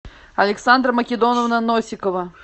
александра македоновна носикова